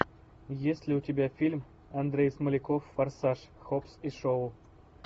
есть ли у тебя фильм андрей смоляков форсаж хоббс и шоу